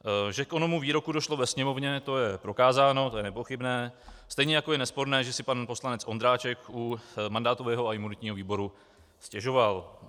Že k onomu výroku došlo ve Sněmovně, to je prokázáno, to je nepochybné, stejně jako je nesporné, že si pan poslanec Ondráček u mandátového a imunitního výboru stěžoval.